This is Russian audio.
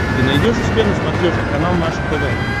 ты найдешь у себя на смотрешке канал наше тв